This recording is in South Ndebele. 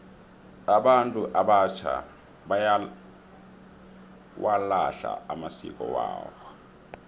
abantu abatjha bayawalahla amasiko wabo